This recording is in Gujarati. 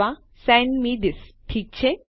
અથવાSend મે થિસ ઠીક છે